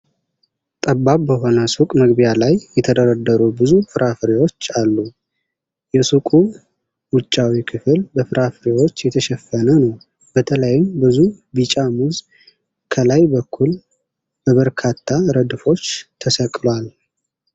ጠባብ በሆነ ሱቅ መግቢያ ላይ የተደረደሩ ብዙ ፍራፍሬዎች አሉ። የሱቁ ውጫዊ ክፍል በፍራፍሬዎች የተሸፈነ ነው፤ በተለይም ብዙ ቢጫ ሙዝ ከላይ በኩል በበርካታ ረድፎች ተሰቅሏል።